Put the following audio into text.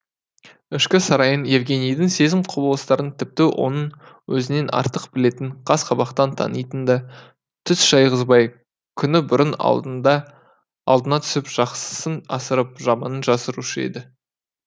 ішкі сарайын евгенийдің сезім құбылыстарын тіпті оның өзінен артық білетін қас қабақтан танитын да түс шайғызбай күні бұрын алдына түсіп жақсысын асырып жаманын жасырушы еді